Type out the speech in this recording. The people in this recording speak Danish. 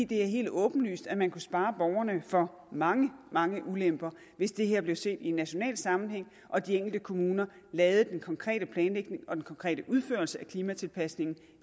det er helt åbenlyst at man kunne spare borgerne for mange mange ulemper hvis det her blev set i en national sammenhæng og de enkelte kommuner lavede den konkrete planlægning og den konkrete udførelse af klimatilpasningen